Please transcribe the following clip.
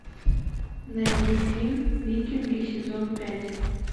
найди фильм викинги сезон пять